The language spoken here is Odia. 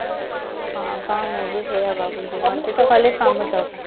ହଁ ତ ମୁଁ ବି ସେଇଆ ଭାବୁଛି ମତେ ତ ଖାଲି ସମୟ ଦରକାର